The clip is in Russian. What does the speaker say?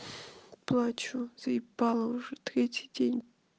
плачу заебало уже третий день